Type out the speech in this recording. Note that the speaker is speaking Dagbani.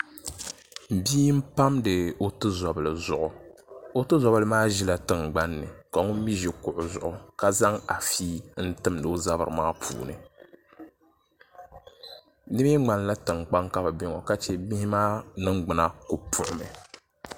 Bia n pamdi o tuzobili zuɣu o tuzobili maa ʒila tingbanni ka ŋun mii ʒi kuɣu zuɣu ka zaŋ afi n timdi o zabiri maa puuni di mii ŋmanila tiŋkpaŋ ka bi bɛ ŋo ka chɛ bihi maa ningbuna ku puɣumi